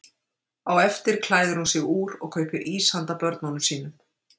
Á eftir klæðir hún sig úr og kaupir ís handa börnunum sínum.